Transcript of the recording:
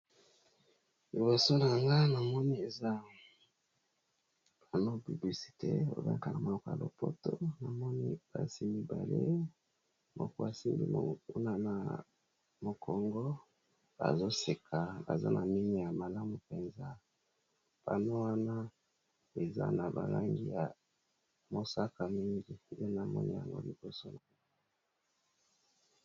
Liboso na yanga na moni eza panneau publicitaire, ba bengak'ango na monoko ya lopoto, namoni basi mibale moko asimbi na mokongo azo seka aza na minu ya malamu penza. Panneau wana eza na ba langi ya mosaka mingi , na moni yango liboso .